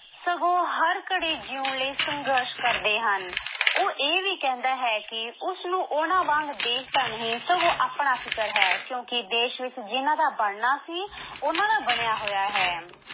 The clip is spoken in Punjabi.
ਸਗੋਂ ਹਰ ਘੜੀ ਜਿਉਣ ਲਈ ਸੰਘਰਸ਼ ਕਰਦੇ ਹਨ ਉਹ ਇਹ ਵੀ ਕਹਿੰਦਾ ਹੈ ਕਿ ਉਸਨੂੰ ਉਹਨਾਂ ਵਾਂਗ ਦੇਸ਼ ਦਾ ਨਹੀਂ ਸਗੋਂ ਆਪਣਾ ਫਿਕਰ ਹੈ ਕਿਉਂਕਿ ਦੇਸ਼ ਵਿੱਚ ਜਿਹਨਾਂ ਦੀ ਬਣਨਾ ਸੀ ਉਹਨਾਂ ਦਾ ਬਣਿਆ ਹੋਇਆ ਹੈ।